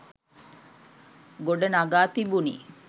ගොඩ නඟා තිබුණි